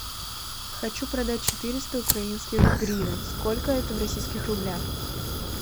хочу продать четыреста украинских гривен сколько это в российских рублях